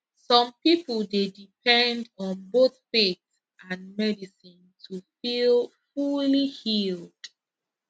some people dey depend on both faith and medicine to feel fully healed